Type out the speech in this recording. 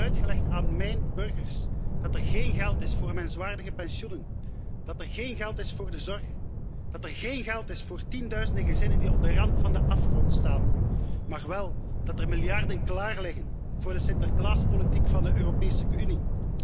Wie krijgt het uitgelegd aan míjn burgers dat er geen geld is voor menswaardige pensioenen, dat er geen geld is voor de zorg, dat er geen geld is voor tienduizenden gezinnen die op de rand van de afgrond staan, maar wel dat er miljarden klaarliggen voor de sinterklaaspolitiek van de Europese Unie?